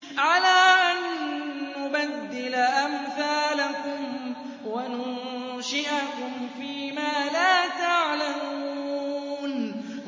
عَلَىٰ أَن نُّبَدِّلَ أَمْثَالَكُمْ وَنُنشِئَكُمْ فِي مَا لَا تَعْلَمُونَ